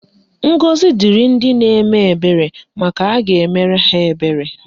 Ngọzi dịrị ndị na-eme ebere maka a ga-emere ha ebere.